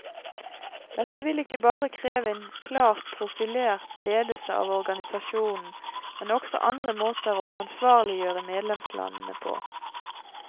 Dette vil ikke bare kreve en klart profilert ledelse av organisasjonen, men også andre måter å ansvarliggjøre medlemslandene på.